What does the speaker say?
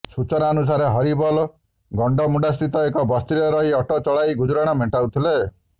ସୂଚନାନୁସାରେ ହରିବୋଲ ଗଣ୍ତମୁଣ୍ତାସ୍ଥିତ ଏକ ବସ୍ତିରେ ରହି ଅଟୋ ଚଳାଇ ଗୁଜୁରାଣ ମେଣ୍ଟାଉଥିଲା